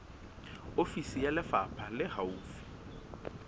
ofisi ya lefapha le haufi